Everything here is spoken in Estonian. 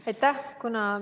Aitäh!